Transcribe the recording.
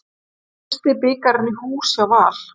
Fyrsti bikarinn í hús hjá Val